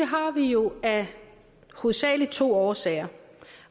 har vi jo hovedsagelig af to årsager